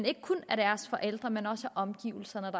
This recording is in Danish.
ikke kun af deres forældre men også af omgivelserne